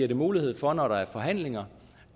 det mulighed for når der er forhandlinger